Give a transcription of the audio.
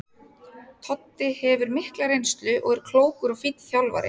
Toddi hefur mikla reynslu og er klókur og fínn þjálfari.